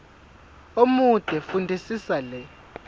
omude fundisisa le